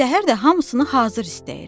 Səhər də hamısını hazır istəyir.